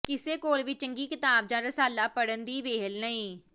ਕਿਸੇ ਕੋਲ ਵੀ ਚੰਗੀ ਕਿਤਾਬ ਜਾਂ ਰਸਾਲਾ ਪੜ੍ਹਨ ਦੀ ਵਿਹਲ ਨਹੀਂ